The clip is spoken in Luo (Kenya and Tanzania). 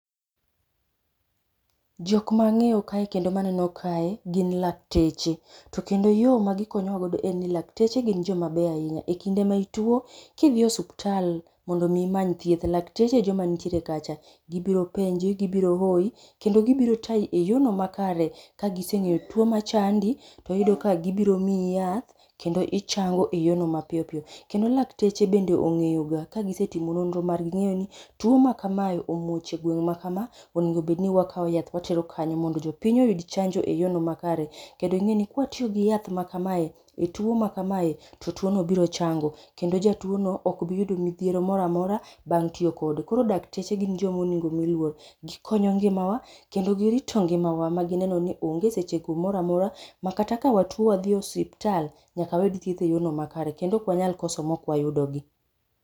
jokma angeyo kaye kendo maneno kae gi lakteche kendo yoo magikonyowago en ni lakteche gi jomabeyo ahinya. ekinda maituo kendo idhie o osiptal mondo imany thieth lakteche ejomanitie kacha. gibiro penji gibiro ooyi kendo gibiro tayi eyoo no makare. kagisengeyo tuo machandi to iyudo ka gibiro miiyi yath kendo ichango eyoo no mapiyopiyo kendo lakteche bende ongeyo ga ka gisetimo nondre margi gingeni tuo ma kamaa omuoch egweng makaa owinjo bedni wakao yath watero kanyo mono jopiny oyud chanjo e yoo no makare kendo kawatiyo gi yath makamae e tuo makamae to tuo no biro chango kendo jatuo no okbi yudo midhiero moramora bang tiyo kode koro dakteche gin jogo monego omii luor gikonyo ngima waa kendo girito ngimawa magineno ni onge seche go moramora makata ka watuo wadhie osiptal nyaka wayud thieth eyorno makare kendo ok wanyal koso maok wayudogi